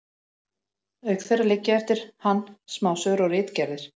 auk þeirra liggja eftir hann smásögur og ritgerðir